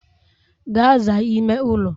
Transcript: Gaa zaa ime ụlọ!